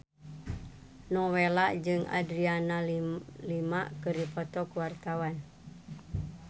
Nowela jeung Adriana Lima keur dipoto ku wartawan